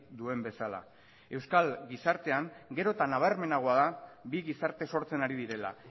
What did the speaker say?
duen bezala euskal gizartean gero eta nabarmenagoa da bi gizarte sortzen ari direla